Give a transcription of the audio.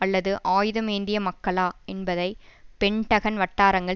அல்லது ஆயுதம் ஏந்திய மக்களா என்பதை பென்டகன் வட்டாரங்கள்